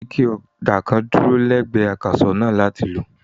Ike ọ̀dà kan dúró lẹ́gbẹ̀ẹ́ akàsọ̀ náà láti lò.